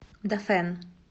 дафэн